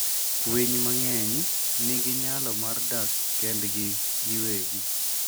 Winy mang'eny nigi nyalo mar dak kendgi giwegi.